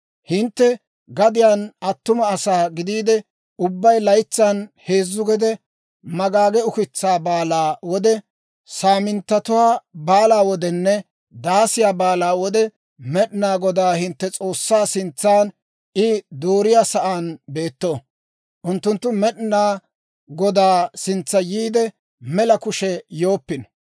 «Hintte gadiyaan attuma asaa gideedda ubbay laytsan heezzu gede, Magaage Ukitsaa Baalaa wode, Saaminttatuwaa Baalaa wodenne Daasiyaa Baalaa wode, Med'inaa Godaa hintte S'oossaa sintsan I dooriyaa sa'aan beetto. Unttunttu Med'inaa Godaa sintsa yiidde, mela kushe yooppino.